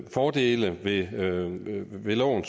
fordele ved loven